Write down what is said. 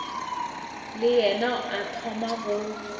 le yena a thoma go